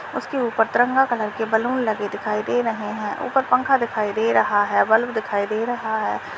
उसके ऊपर तिरंगा कलर के बैलून लगे दिखाई दे रहे हैं ऊपर पंखा दिखाई दे रहा है बल्ब दिखाई दे रहा है।